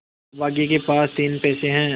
अभागे के पास तीन पैसे है